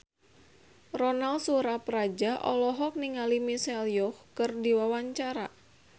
Ronal Surapradja olohok ningali Michelle Yeoh keur diwawancara